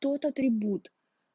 тот атрибут